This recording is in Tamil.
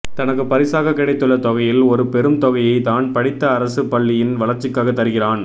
தனக்குப் பரிசாகக் கிடைத்துள்ள தொகையில் ஒரு பெரும் தொகையை தான் படித்த அரசு பள்ளியின் வளர்ச்சிக்காக தருகிறான்